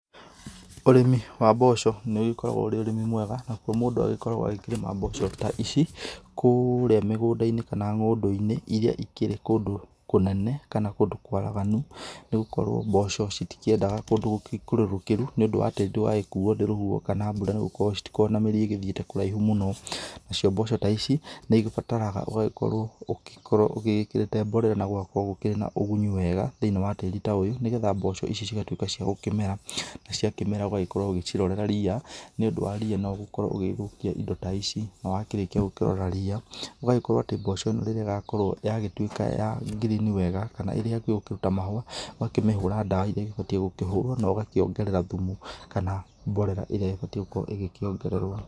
Ũrĩmi wa mboco nĩ ũgĩkoragwo ũrĩ ũrĩmi mwega nakuo mũndũ agĩkoragwo akĩrĩma mboco ta ici kũrĩa mĩgũnda-inĩ kana ng'ondũ-inĩ iria ikĩrĩ kũndũ kũnene kana kũndũ kwaraganu nĩgũkorwo mboco citikĩendaga kũndũ gũĩkũrũrũkĩru nĩ ũndũ wa tĩri ndũgagĩkuwo nĩ rũhuho kana mbura nĩgũkorwo citikoragwo na mĩri ĩthiĩte kũraihu mũno. Nacio mboco ta ici nĩĩgĩbataraga ũgagĩkorwo ũkorwo ũgĩgĩkĩrĩte mborera na gũgakorwo gũkĩrĩ na ũgunyu wega thĩinĩ wa tĩri ta ũyũ nĩgetha mboco ici cigagĩtuĩka cia gũkĩmera, na cia kĩmera ũgagĩkorwo ũgĩcirorera rĩya, nĩ ũndũ wa rĩya no gukorwo ũgĩthũkĩa ĩndo ta ici, na wakĩrĩkia gũkĩrora rĩya ũgagĩkorwo atĩ mboco ĩno rĩrĩa ĩgakorwo yagĩtuĩka ya girini wega kana ĩrĩ hakuhĩ kũruta mahũa ũgakĩmĩhũra ndawa iria ĩbatiĩ gũkũhũrwo na ũgakĩũngerera thumu kana mborera ĩrĩa ĩbatĩĩ gukorwo ĩkĩongererwo.